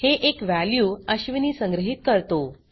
हे एक वॅल्यू अश्विनी संग्रहीत करतो